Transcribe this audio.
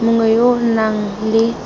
mongwe yo o nang le